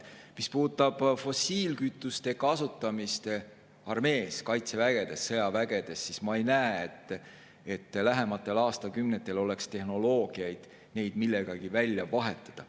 Mis puudutab fossiilkütuste kasutamist armees, kaitseväes, sõjaväes, siis ma ei näe, et lähematel aastakümnetel oleks tehnoloogiaid, mis võimaldaksid neid millegagi välja vahetada.